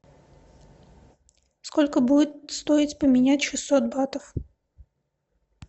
сколько будет стоить поменять шестьсот батов